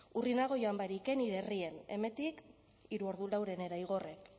urrunago joan barik nire herrian hemendik hiru ordu laurdenera igorren